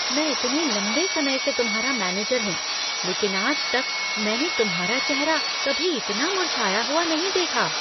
मैं इतने लंबे समय से तुम्हारा मैनेजर हूँ , लेकिन आज तक मैंने तुम्हारा चेहरा कभी इतना मुरझाया हुआ नहीं देखा।